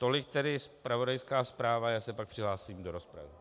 Tolik tedy zpravodajská zpráva, já se pak přihlásím do rozpravy.